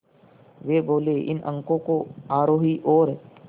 वे बोले इन अंकों को आरोही और